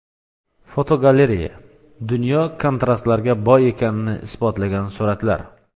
Fotogalereya: Dunyo kontrastlarga boy ekanini isbotlagan suratlar.